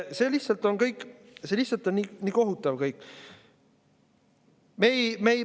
See kõik on lihtsalt nii kohutav.